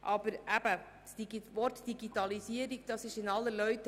Aber das Wort «Digitalisierung» ist in aller Munde.